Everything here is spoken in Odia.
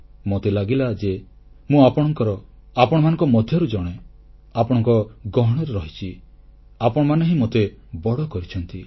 ମୋତେ ଲାଗିଲା ଯେ ମୁଁ ଆପଣଙ୍କର ଆପଣମାନଙ୍କ ମଧ୍ୟରୁ ଜଣେ ଆପଣଙ୍କ ଗହଣରେ ରହିଛି ଆପଣମାନେ ହିଁ ମୋତେ ବଡ଼ କରିଛନ୍ତି